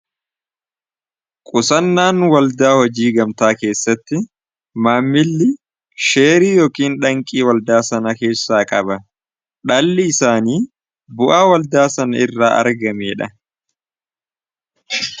Qusannaan waldaa hojii gamtaa keessatti maammilli sheerii yookiin dhalli waldaa sana keessaa qaba dhalli isaanii bu'aa waldaa sana irraa argameedha.